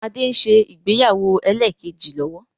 Adé ń ṣe ìgbéyàwó ẹlẹ́kẹ́jì lọ́wọ́